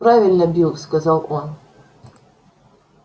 правильно билл сказал он